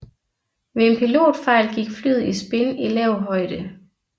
Ved en pilotfejl gik flyet i spin i lav højde